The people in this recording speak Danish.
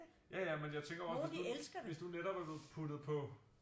Ja ja men jeg tænker jo også hvis du netop er puttet på